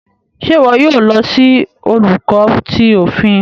Ṣe iwọ yoo lo si Olùkọ tí òfin?